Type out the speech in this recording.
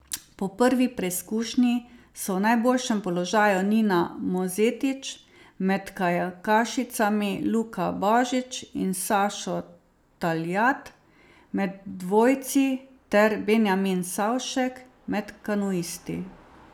Po prvi preizkušnji so v najboljšem položaju Nina Mozetič med kajakašicami, Luka Božič in Sašo Taljat med dvojci ter Benjamin Savšek med kanuisti.